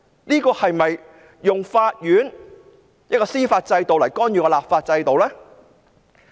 政府是否利用法院的司法制度來干預立法制度？